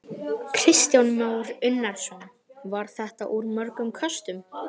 Kristján Már Unnarsson: Var þetta úr mörgum köstum?